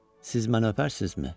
Siz məni öpərsinizmi?